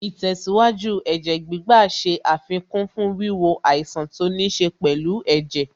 Ìtẹ̀síwájú Ẹ̀jẹ̀ gbígbà ṣe àfikún fún wíwo àìsàn tó níṣe pẹ̀lú ẹ̀jẹ̀